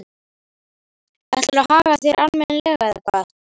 Ætlarðu að haga þér almennilega, eða hvað?